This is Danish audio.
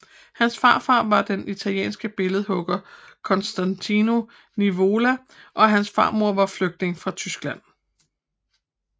Hans farfar var den italienske billedhugger Costantino Nivola og hans farmor var flygtning fra Tyskland